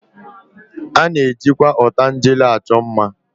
A na-ejikwa ọtangele achọ mma